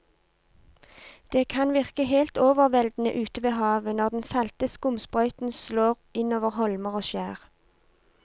Det kan virke helt overveldende ute ved havet når den salte skumsprøyten slår innover holmer og skjær.